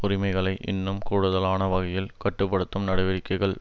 உரிமைகளை இன்னும் கூடுதலான வகையில் கட்டு படுத்தும் நடவடிக்கைகள்